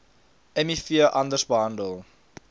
miv anders behandel